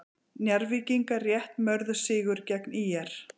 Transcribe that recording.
Njarðvíkingar rétt mörðu sigur gegn ÍR